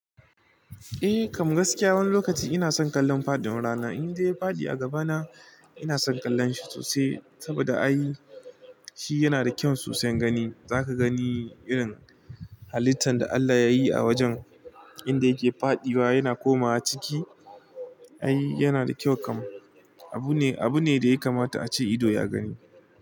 Eh, kam gaskiya, wani lokaci ina son kallon faɗiwan rana. Indai ya faɗi a gabana ina son kallon shi sosai, saboda ai, shi yana da kyau sosai gani. Zaka gani, irin halittan da Allah yayi a wajen inda yake faɗiwa yana komawa ciki. Ai yana da kyau kam. Abu ne, abu ne da ya kamata ace ido ya gani.